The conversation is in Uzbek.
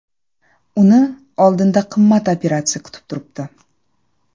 Uni oldinda qimmat operatsiya kutib turibdi.